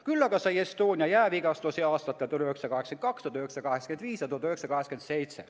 " Küll aga sai Estonia jäävigastusi aastatel 1982, 1985 ja 1987.